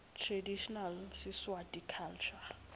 traditional siswati culture